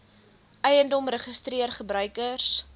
eiendom registreer gebruikers